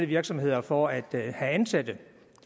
virksomheder for at have ansatte